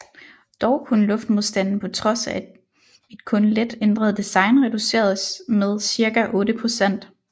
Dog kunne luftmodstanden på trods af et kun let ændret design reduceres med cirka otte procent